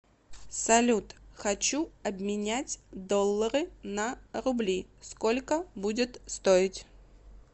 салют хочу обменять доллары на рубли сколько будет стоить